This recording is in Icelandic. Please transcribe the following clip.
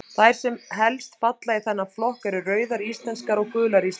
Þær sem helst falla í þennan flokk eru Rauðar íslenskar og Gular íslenskar.